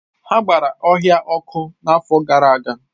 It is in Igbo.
Ha gbara ọhịa ọkụ n’afọ gara aga.